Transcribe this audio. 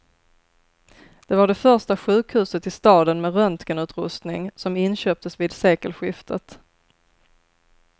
Det var det första sjukhuset i staden med röntgenutrustning, som inköptes vid sekelskiftet.